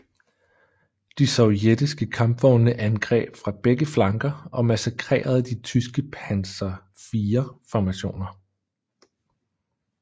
De sovjetiske kampvogne angreb fra begge flanker og massakrerede de tyske Panzer IV formationer